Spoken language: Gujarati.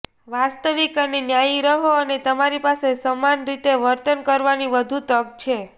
વાસ્તવિક અને ન્યાયી રહો અને તમારી પાસે સમાન રીતે વર્તન કરવાની વધુ તક છે